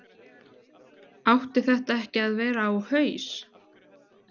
Átti þetta ekki að vera á haus?